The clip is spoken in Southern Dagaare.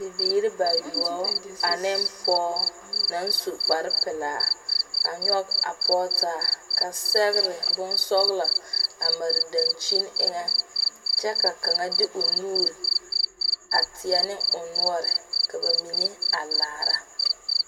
Bibiire ba yuobo a ne poʊ na su kpar pulaa a nyoɔg a poge taa. Ka segre bon sɔglɔ a mare dankyene eŋe kyɛ ka kanga de o nuure a teɛ ne o nuore ka ba mene a laara.